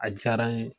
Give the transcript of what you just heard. A diyara n ye